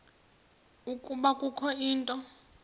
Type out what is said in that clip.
ukuba kukho into